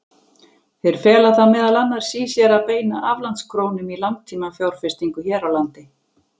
Þeir fela það meðal annars í sér að beina aflandskrónum í langtímafjárfestingu hér á landi.